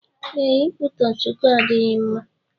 Ee, ikwutọ Chukwu adịghị mma